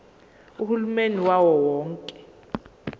uhulumeni wawo wonke